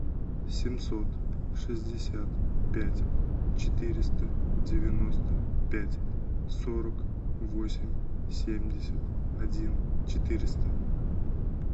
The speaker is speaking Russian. семьсот шестьдесят пять четыреста девяносто пять сорок восемь семьдесят один четыреста